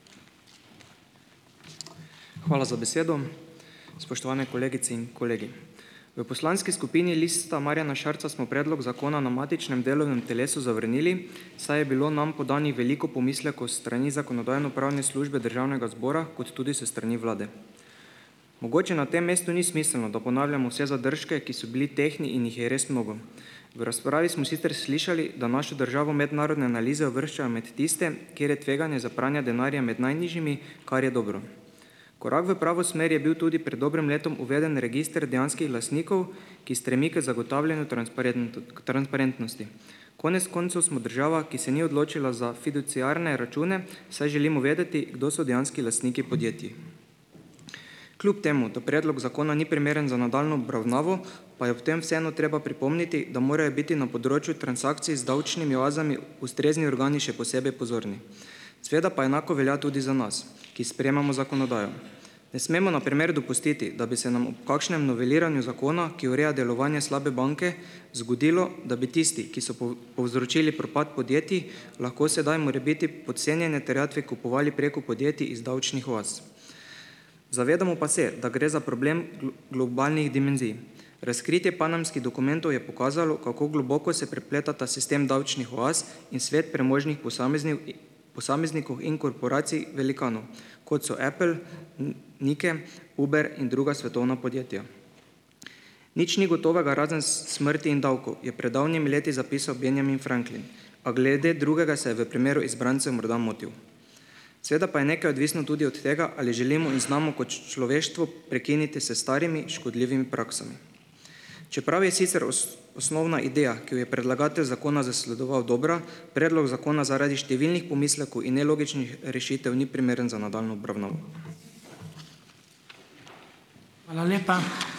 Hvala za besedo. Spoštovane kolegice in kolegi! V poslanski skupini Lista Marjana Šarca smo predlog zakona na matičnem delovnem telesu zavrnili, saj je bilo nam podanih veliko pomislekov s strani Zakonodajno-pravne službe Državnega zbora kot tudi s strani vlade. Mogoče na tem mestu ni smiselno, da ponavljamo vse zadržke, ki so bili tehtni in jih je res mnogo. V razpravi smo sicer slišali, da našo državo mednarodne analize uvrščajo med tiste, kjer je tveganje za pranje denarja med najnižjimi, kar je dobro. Korak v pravo smer je bil tudi pred dobrim letom uvedeni register dejanskih lastnikov, ki stremi k zagotavljanju transparentnosti. Konec koncev smo država, ki se ni odločila za fiduciarne račune, saj želimo vedeti, kdo so dejanski lastniki podjetij. Kljub temu da predlog zakona ni primeren za nadaljnjo obravnavo, pa je ob tem vseeno treba pripomniti, da morajo biti na področju transakcij z davčnimi oazami ustrezni organi še posebej pozorni. Seveda pa enako velja tudi za nas, ki sprejemamo zakonodajo. Ne smemo, na primer, dopustiti, da bi se nam ob kakšnem noveliranju zakona, ki ureja delovanje slabe banke, zgodilo, da bi tisti, ki so pol povzročili propad podjetij, lahko sedaj morebiti podcenjene terjatve kupovali preko podjetij iz davčnih oaz. Zavedamo pa se, da gre za problem globalnih dimenzij. Razkritje panamskih dokumentov je pokazalo, kako globoko se prepletata sistem davčnih oaz in svet premožnih posameznikov in korporacij velikanov, kot so Apple, in Nike, Uber in druga svetovna podjetja. "Nič ni gotovega, razen smrti in davkov," je pred davnimi leti zapisal Benjamin Franklin, pa glede drugega se je v primeru izbrancev morda motil. Seveda pa je nekaj odvisno tudi od tega, ali želimo in znamo kot človeštvo prekiniti s starimi, škodljivimi praksami. Čeprav je sicer osnovna ideja, ki jo je predlagatelj zakona zasledoval, dobra, predlog zakona zaradi številnih pomislekov in nelogičnih rešitev ni primeren za nadaljnjo obravnavo.